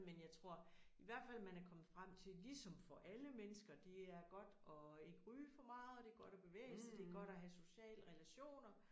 Men jeg tror i hvert fald man er kommet frem til ligesom for alle mennesker det er godt at ikke ryge for meget og det godt at bevæge sig det godt at have sociale relationer